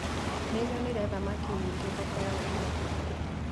Nĩnyonire thamaki nyingĩ thoko ya ũmũthĩ